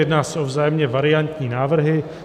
Jedná se o vzájemně variantní návrhy.